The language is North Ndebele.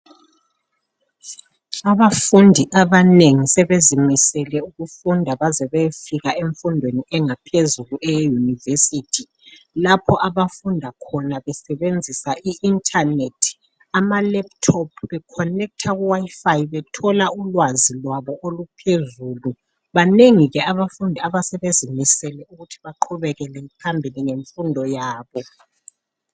Abafundi abanengi sebezimisele ukufunda baze bayefika emfundweni engaphezulu eyeyunivesithi. Lapho abafunda khona besebenzisa i-inthanethi, amalephuthophu, bekhonekitha kuwayifayi, bethola ulwazi lwabo oluphezulu. Banengi ke abafundi asebezimisele ukuthi baqhubekele phambili ngemfundo yabo.